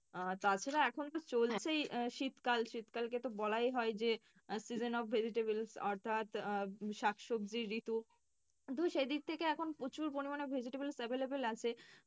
আহ তাছাড়া এখন তো চলছেই শীতকাল। শীতকালকে তো বলাই হয় যে season of vegetable অর্থাৎ আহ শাক সবজির ঋতু। কিন্তু সে দিক থেকে এখন প্রচুর পরিমাণে vegetables available আছে।